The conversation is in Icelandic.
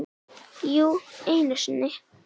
Jú, einu sinni.